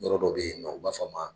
Yɔrɔ dɔ bɛ yen nɔ u b'a fɔ ma